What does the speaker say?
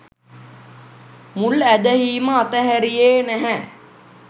මුල් ඇදහීම අතහැරියේ නැහැ.